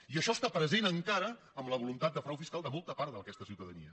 i això està pre·sent encara en la voluntat de frau fiscal de molta part d’aquesta ciutadania